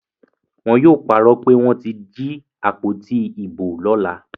Wọn yóò parọ́ pé wọ́n ti jí àpótí ìbò lọ́la.